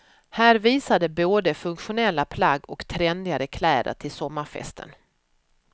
Här visar de både funktionella plagg och trendigare kläder till sommarfesten.